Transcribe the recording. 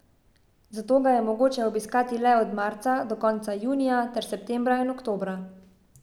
Zato ga je mogoče obiskati le od marca do konca junija ter septembra in oktobra.